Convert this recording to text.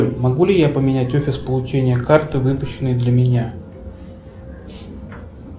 могу ли я поменять офис получения карты выпущенной для меня